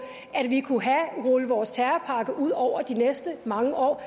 at vi kunne rulle vores terrorpakke ud over de næste mange år